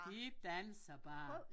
De danser bare